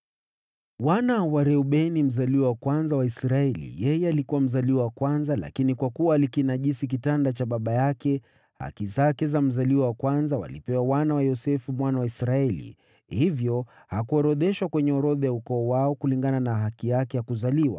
Wana wa Reubeni mzaliwa wa kwanza wa Israeli (yeye alikuwa mzaliwa wa kwanza, lakini kwa kuwa alikinajisi kitanda cha baba yake, haki zake za mzaliwa wa kwanza walipewa wana wa Yosefu mwana wa Israeli. Hivyo hakuorodheshwa kwenye orodha ya ukoo wao kulingana na haki yake ya kuzaliwa.